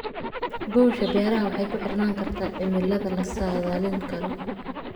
Guusha beeraha waxay ku xirnaan kartaa cimilada la saadaalin karo.